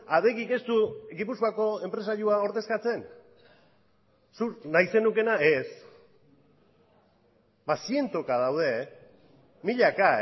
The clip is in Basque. adegik ez du gipuzkoako enpresarioa ordezkatzen zuk nahi zenukeena ez ba zientoka daude milaka